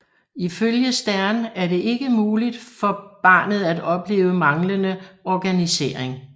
Ifølge Stern er det ikke mulig for barnet at opleve manglende organisering